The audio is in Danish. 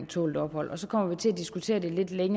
tålt ophold og så kommer vi til at diskutere det lidt